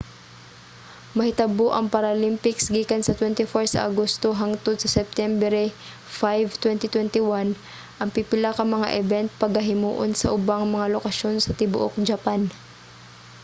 mahitabo ang paralympics gikan sa 24 sa agosto hangtod sa septyembre 5 2021. ang pipila ka mga event pagahimuon sa ubang mga lokasyon sa tibuok japan